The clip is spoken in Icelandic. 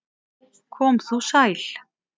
Kom þú sæl!